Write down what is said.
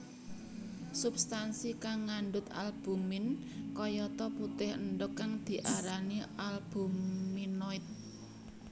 Substansi kang ngandhut albumin kayata putih endhog kang diarani albuminoid